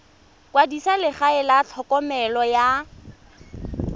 kwadisa legae la tlhokomelo ya